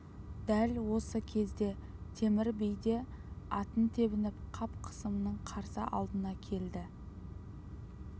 дәл осы кезде темір би де атын тебініп қап қасымның қарсы алдына келді